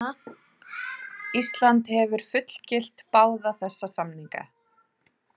Ísland hefur fullgilt báða þessa samninga.